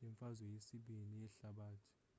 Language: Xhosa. lemfazwe yesibini ii yehlabathi